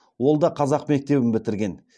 ол да қазақ мектебін бітірген